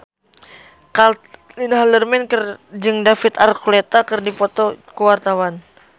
Caitlin Halderman jeung David Archuletta keur dipoto ku wartawan